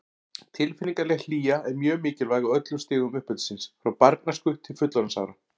Tilfinningaleg hlýja er mjög mikilvæg á öllum stigum uppeldisins, frá barnæsku til fullorðinsára.